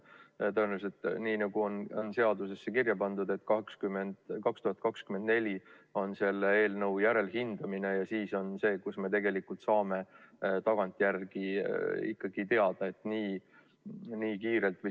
Tõenäoliselt on nii, nagu seaduses ka kirjas, et 2024 on selle eelnõu järelhindamine ja siis me saame tagantjärele teada.